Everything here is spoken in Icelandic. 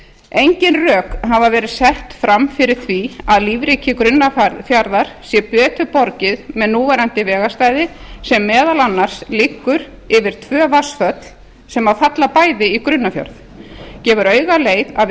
engin rök hafa verið sett fram fyrir því að lífríki grunnafjarðar sé betur borgið með núverandi vegarstæði sem meðal annars liggur yfir tvö vatnsföll sem falla bæði í grunnafjörð gefur auga leið að við